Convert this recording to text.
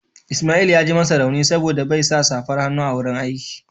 Ismail ya ji masa rauni saboda bai sa safar hannu a wurin aiki